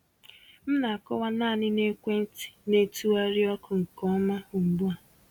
M na-akọwa naanị na ekwentị na-etụgharị ọkụ nke ọma ugbu a.